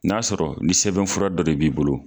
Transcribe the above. N'a sɔrɔ ni sɛbɛnfura dɔ de b'i bolo.